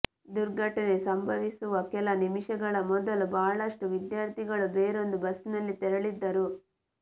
ದುರ್ಘಟನೆ ಸಂಭವಿಸುವ ಕೆಲ ನಿಮಿಷಗಳ ಮೊದಲು ಬಹಳಷ್ಟು ವಿದ್ಯಾರ್ಥಿಗಳು ಬೇರೊಂದು ಬಸ್ಸಿನಲ್ಲಿ ತೆರಳಿದ್ದರು